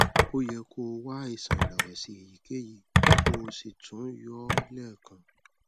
o yẹ kó o wá àìsàn ìrẹwẹsì èyíkéyìí kó o sì tún yọ ọ lẹẹkan